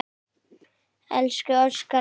Elsku Óskar minn.